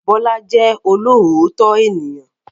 Bọ́lá jẹ́ olóòótọ́ ènìyàn.